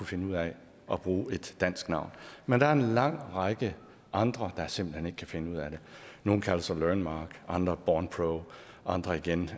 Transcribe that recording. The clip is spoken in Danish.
finde ud af at bruge et dansk navn men der er en lang række andre der simpelt hen ikke kan finde ud af det nogle kalder sig learnmark andre bornpro og andre igen